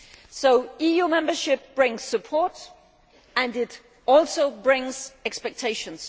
So EU membership brings support, and it also brings expectations.